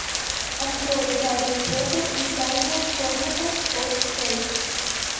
открой гарри поттер и тайная комната фор кей